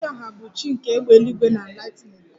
Amadioha bụ chi nke égbè eluigwe na lightening